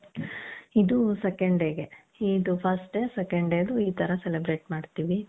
ಇದು second day ಗೆ ಇದು first day second dayದು ಈತರ celebrate ಮಾಡ್ತೀವಿ